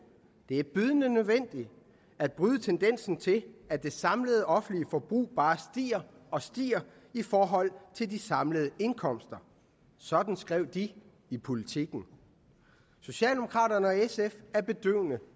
det er bydende nødvendigt at bryde tendensen til at det samlede offentlige forbrug bare stiger og stiger i forhold til de samlede indkomster sådan skrev de i politiken socialdemokraterne og sf er bedøvende